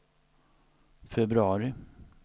februari